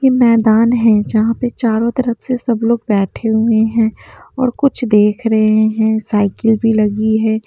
ये मैदान है जहाँ पर चारों तरफ से सब लोग बैठे हुए हैं और कुछ देख रहे हैं साइकिल भी लगी है।